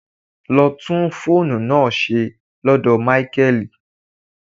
Lọ tún fóònù náà ṣe lọ́dọ̀ Máíkẹ́lì.